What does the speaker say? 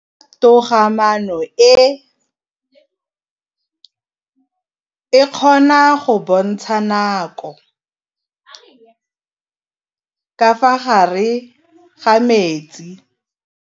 Toga-maanô e, e kgona go bontsha nakô ka fa gare ga metsi.